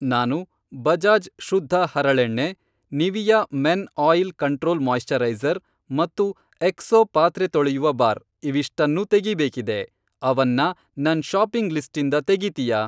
ನಾನು ಬಜಾಜ್ ಶುದ್ಧ ಹರಳೆಣ್ಣೆ, Nivea men oil control moisturiser ಮತ್ತು ಎಕ್ಸೋ ಪಾತ್ರೆ ತೊಳೆಯುವ ಬಾರ್ ಇವಿಷ್ಟನ್ನೂ ತೆಗೀಬೇಕಿದೆ, ಅವನ್ನ ನನ್ ಷಾಪಿಂಗ್ ಲಿಸ್ಟಿಂದ ತೆಗೀತೀಯಾ?